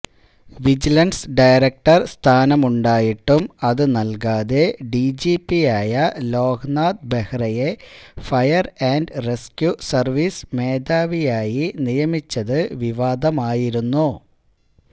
vigilance director സ്ഥാനമുണ്ടായിട്ടും അതുനൽകാതെ ഡിജിപിയായ ലോക്നാഥ് ബെഹ്റയെ ഫയർ ആൻഡ് റസ്ക്യൂ സർവീസ് മേധാവിയായി നിയമിച്ചത് വിവാദമായിരുന്നു